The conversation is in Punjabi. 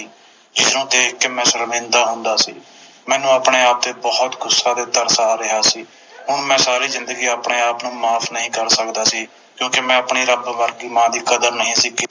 ਜਿਸਨੂੰ ਦੇਖ ਕੇ ਮੈਂ ਸ਼ਰਮਿੰਦਾ ਹੁੰਦਾ ਸੀ ਮੈਨੂੰ ਆਪਣੇ ਆਪ ਤੇ ਬੋਹੋਤ ਗੁੱਸਾ ਤੇ ਤਰਸ ਆ ਰਿਹਾ ਸੀ ਮੈਂ ਸਾਰੀ ਜਿੰਦਗੀ ਆਪਣੇ ਆਪ ਨੂੰ ਮਾਫ ਨਹੀਂ ਕਰ ਸਕਦਾ ਸੀ ਕਿਉਕਿ ਮੈਂ ਆਪਣੀ ਰੱਬ ਵਰਗੀ ਮਾਂ ਦੀ ਕਦਰ ਨਹੀਂ ਸੀ ਕੀਤੀ